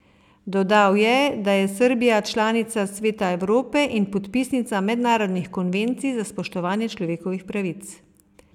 Dodal je, da je Srbija članica Sveta Evrope in podpisnica mednarodnih konvencij za spoštovanje človekovih pravic.